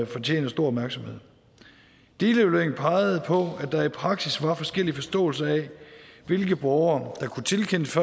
fortjener stor opmærksomhed delevalueringen pegede på at der i praksis var forskellige forståelser af hvilke borgere der kunne tilkendes